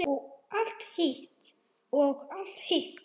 Og allt hitt.